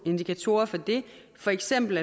indikatorer for det for eksempel